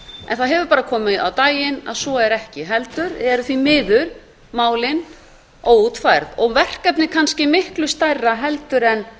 en það hefur bara komið á daginn að svo er ekki heldur eru því miður málin óútfærð og verkefnið kannski miklu stærra heldur en